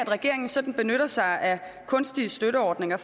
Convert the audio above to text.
regeringen sådan benytter sig af kunstige støtteordninger